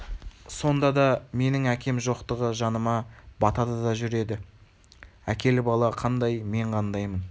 сонда да менің әкем жоқтығы жаныма батады да жүреді әкелі бала қандай мен қандаймын